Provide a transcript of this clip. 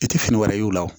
I tɛ fini wɛrɛ ye o la